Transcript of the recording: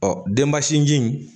Ɔ denbasinji in